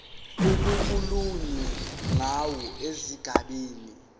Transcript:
okukhulunywe ngawo esigabeni